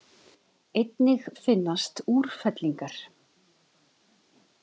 Einnig finnast úrfellingar.